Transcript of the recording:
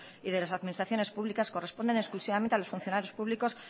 y de las administraciones públicas corresponden exclusivamente a los funcionarios públicos